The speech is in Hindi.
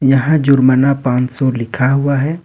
यहां जुर्माना पांच सौ लिखा हुआ है।